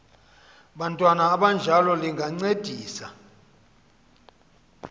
bantwana abanjalo lingancedisa